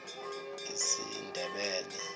isindebele